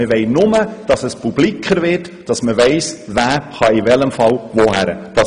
Wir möchten nur, dass es mehr bekannt wird und man weiss, in welchem Fall man sich wohin wenden kann.